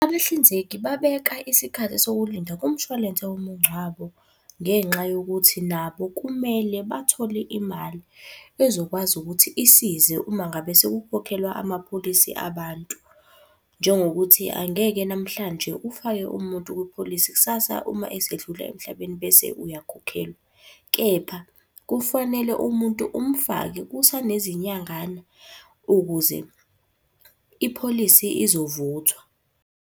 Abahlinzeki babeka isikhathi sokulinda kumshwalense womungcwabo ngenxa yokuthi nabo kumele bathole imali ezokwazi ukuthi isize uma ngabe sekukhokhelwa amapholisi abantu. Njengokuthi angeke namhlanje ufake umuntu kwipholisi kusasa uma esedlula emhlabeni bese uyakhokhelwa. Kepha, kufanele umuntu umfake kusanezinyangana ukuze ipholisi izovuthwa.